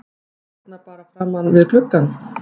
Hérna bara framan við gluggann?